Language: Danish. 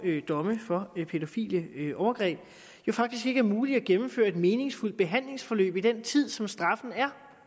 domme for pædofile overgreb ikke er muligt at gennemføre et meningsfuldt behandlingsforløb i den tid som straffen er